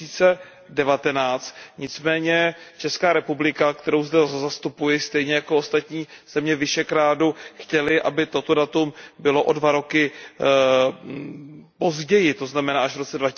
2019. Nicméně Česká republika, kterou zde zastupuji, stejně jako ostatní země Visegrádu chtěly, aby toto datum bylo o dva roky později, to znamená až v roce